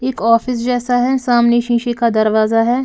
एक ऑफिस जैसा है सामने शीशे का दरवाजा है।